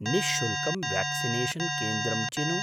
निःशुल्कं व्याक्क्सिनेषन् केन्द्रं चिनु।